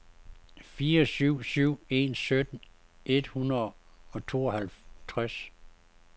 fire syv syv en sytten et hundrede og tooghalvtreds